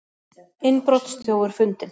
Innbrotsþjófur fundinn